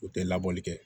U tɛ labɔli kɛ